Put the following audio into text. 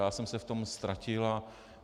Já jsem se v tom ztratil.